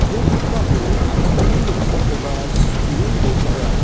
ia pakmao achakni noksakoba sitee donenga.